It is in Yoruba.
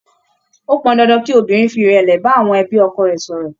Ó pọn dandan kí obìnrin fi ìrẹ̀lẹ̀ bá àwọn ẹbí ọkọ rẹ̀ sọ̀rọ̀.